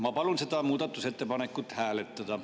Ma palun seda muudatusettepanekut hääletada.